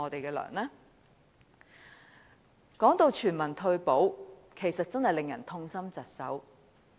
談到全民退保，其實真的令人痛心疾首。